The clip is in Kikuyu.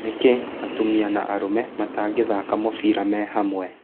Nĩkĩ atumia na arũme matangĩthika mũbira me hamwe?